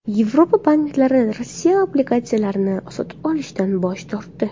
Yevropa banklari Rossiya obligatsiyalarini sotib olishdan bosh tortdi.